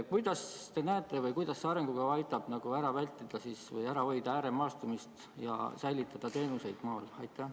Kuidas see arengukava aitab vältida, ära hoida ääremaastumist ja säilitada teenuseid maal?